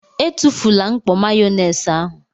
Etufula mkpọ Mayonaise ahụ!!!!